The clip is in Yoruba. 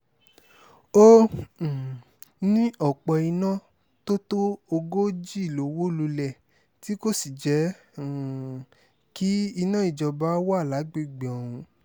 ó um ní ọ̀pọ̀-iná tó tó ogójì ló wó lulẹ̀ tí kò sì jẹ́ um kí iná ìjọba wà lágbègbè ọ̀hún